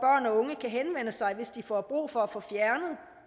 og unge kan henvende sig hvis de får brug for at få fjernet